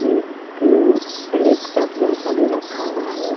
एक लेपटॉप जैसा भी रखा हुआ है।